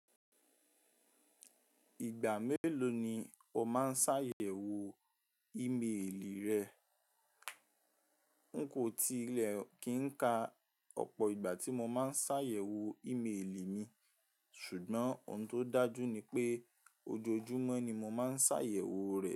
Ìgbà mélòó ni o máa ń sàyẹ̀wò ímeèlì rẹ? N kò tilẹ̀ kí ń ka ọ̀pọ̀ ìgbà tí mo máa ń ṣàyẹ̀wò ímeèlì mi, ṣùgbọ́n ohun tó dájú ni pé ojoojúmọ́ ni mo máa ń ṣàyẹ̀wò rẹ̀